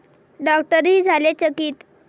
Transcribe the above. डॉक्टरही झाले चकित!